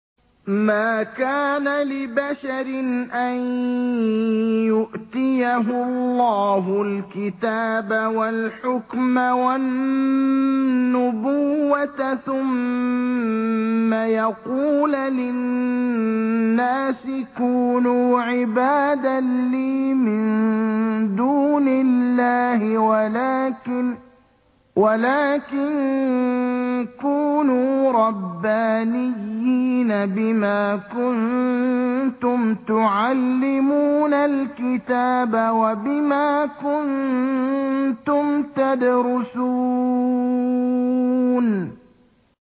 مَا كَانَ لِبَشَرٍ أَن يُؤْتِيَهُ اللَّهُ الْكِتَابَ وَالْحُكْمَ وَالنُّبُوَّةَ ثُمَّ يَقُولَ لِلنَّاسِ كُونُوا عِبَادًا لِّي مِن دُونِ اللَّهِ وَلَٰكِن كُونُوا رَبَّانِيِّينَ بِمَا كُنتُمْ تُعَلِّمُونَ الْكِتَابَ وَبِمَا كُنتُمْ تَدْرُسُونَ